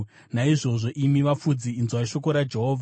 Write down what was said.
naizvozvo imi vafudzi, inzwai shoko raJehovha: